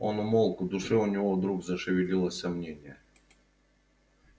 он умолк в душе у него вдруг зашевелилось сомнение